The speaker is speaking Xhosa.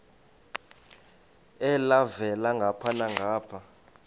elhavela ngapha nangapha